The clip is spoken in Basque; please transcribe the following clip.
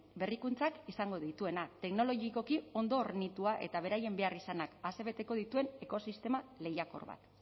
berrikuntzak izango dituena teknologikoki ondo hornitua eta beraien behar izanak asebeteko dituen ekosistema lehiakor bat